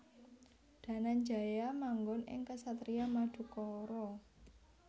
Dananjaya manggon ing kesatrian Madukara